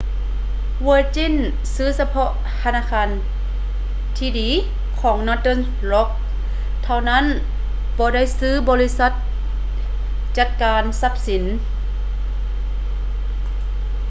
virgin ຊື້ສະເພາະ ທະນາຄານທີ່ດີ ຂອງ northern rock ເທົ່ານັ້ນ ບໍ່ໄດ້ຊື້ບໍລິສັດຈັດການຊັບສິນ